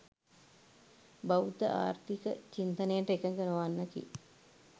බෞද්ධ ආර්ථික චින්තනයට එකඟ නොවන්නකි.